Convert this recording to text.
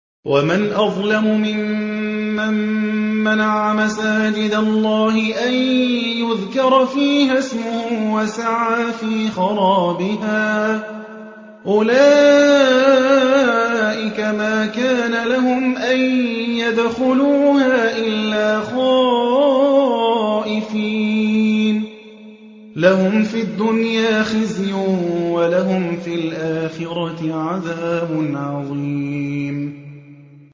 وَمَنْ أَظْلَمُ مِمَّن مَّنَعَ مَسَاجِدَ اللَّهِ أَن يُذْكَرَ فِيهَا اسْمُهُ وَسَعَىٰ فِي خَرَابِهَا ۚ أُولَٰئِكَ مَا كَانَ لَهُمْ أَن يَدْخُلُوهَا إِلَّا خَائِفِينَ ۚ لَهُمْ فِي الدُّنْيَا خِزْيٌ وَلَهُمْ فِي الْآخِرَةِ عَذَابٌ عَظِيمٌ